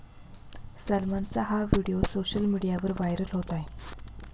सलमानचा हा video social मीडियावर viral होत आहे.